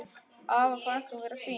Afa fannst hún vera fín.